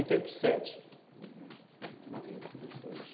oitenta e aham, morreram, todos dois.